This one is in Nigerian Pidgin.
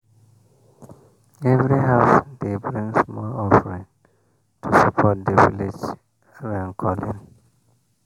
every house dey bring small offering to support the village rain-calling.